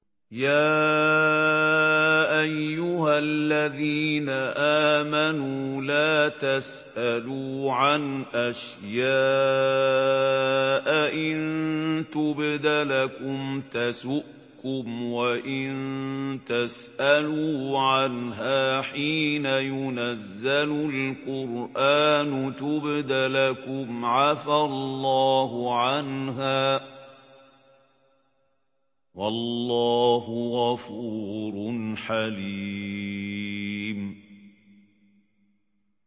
يَا أَيُّهَا الَّذِينَ آمَنُوا لَا تَسْأَلُوا عَنْ أَشْيَاءَ إِن تُبْدَ لَكُمْ تَسُؤْكُمْ وَإِن تَسْأَلُوا عَنْهَا حِينَ يُنَزَّلُ الْقُرْآنُ تُبْدَ لَكُمْ عَفَا اللَّهُ عَنْهَا ۗ وَاللَّهُ غَفُورٌ حَلِيمٌ